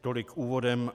Tolik úvodem.